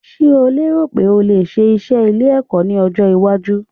Ṣeh o lérò pé o lè ṣe iṣẹ́ ilé kíkọ́ ní ọjọ́-iwájú?